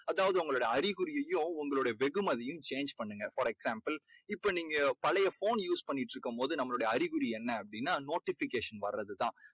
அதாவது உங்களோட அறிகுறியையும் வெகுமதியையும் change பண்ணுங்க. for example இப்போ நீங்க பழைய phoneuse பண்ணிக்கிட்டுருக்கும் போது அதனுடைய அறிகுறி என்ன அப்படீன்னா notification வர்றது தான்.